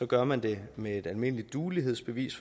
gør man det med et almindeligt duelighedsbevis